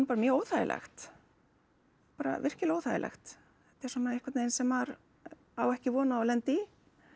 bara mjög óþægilegt bara virkilega óþægilegt þetta er svona einhvern veginn sem maður á ekki von á að lenda í